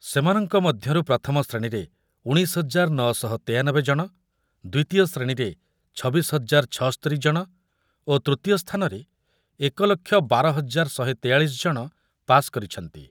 ସେମାନଙ୍କ ମଧ୍ୟରୁ ପ୍ରଥମ ଶ୍ରେଣୀରେ ଉଣେଇଶ ହଜାର ନ ଶହ ତେୟାନବେ ଜଣ, ଦ୍ୱିତୀୟ ଶ୍ରେଣୀରେ ଛବିଶି ହଜାର ଛସ୍ତୋରି ଜଣ ଓ ତୃତୀୟ ସ୍ଥାନରେ ଏକ ଲକ୍ଷ ବାର ହଜାର ଶହେ ତେୟାଳିଶି ଜଣ ପାସ୍ କରିଛନ୍ତି ।